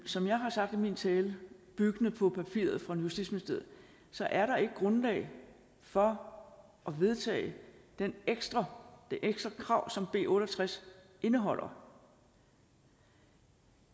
som jeg har sagt i min tale byggende på papiret fra justitsministeriet så er der ikke grundlag for at vedtage det ekstra krav som b otte og tres indeholder